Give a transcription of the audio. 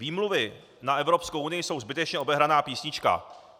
Výmluvy na Evropskou unii jsou zbytečně obehraná písnička.